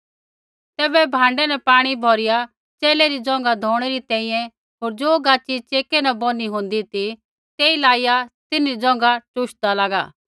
तैबै भाँडै न पाणी भौरिया च़ेले री ज़ोंघा धोणै री तैंईंयैं होर ज़ो गाच़ी चेकै न बौनी होन्दी ती तेई लाईया तिन्हरी ज़ोंघा टूशदा लागा